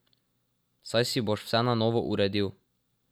Saj si boš vse na novo uredil.